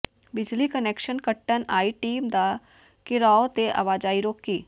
ਬਿਜਲੀ ਕੁਨੈਕਸ਼ਨ ਕੱਟਣ ਆਈ ਟੀਮ ਦਾ ਘਿਰਾਓ ਤੇ ਆਵਾਜਾਈ ਰੋਕੀ